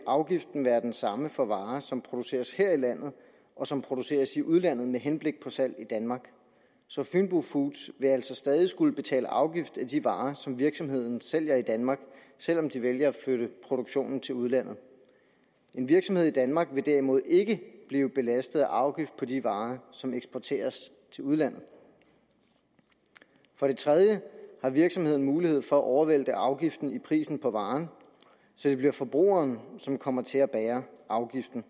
afgiften være den samme for varer som produceres her i landet og som produceres i udlandet med henblik på salg i danmark så fynbo foods vil altså stadig skulle betale afgift af de varer som virksomheden sælger i danmark selv om de vælger at flytte produktionen til udlandet en virksomhed i danmark vil derimod ikke blive belastet af afgift på de varer som eksporteres til udlandet for det tredje har virksomheden mulighed for at overvælte afgiften i prisen på varen så det bliver forbrugeren som kommer til at bære afgiften